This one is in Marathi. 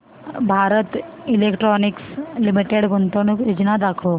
भारत इलेक्ट्रॉनिक्स लिमिटेड गुंतवणूक योजना दाखव